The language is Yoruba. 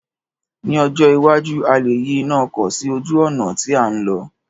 Ní ọjọ́ iwájú, a lè yí iná ọkọ̀ sí ojú ọ̀nà tí à ń lọ̀